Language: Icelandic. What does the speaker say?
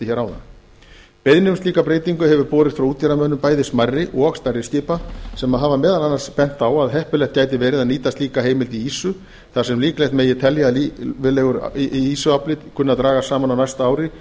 áðan beiðni um slíka breytingu hefur borist frá útgerðarmönnum bæði smærri og stærri skipa sem hafa meðal annars bent á að heppilegt gæti verið að nýta slíka heimild í ýsu þar sem líklegt megi telja að ýsuafli kunni að dragast saman á næsta ári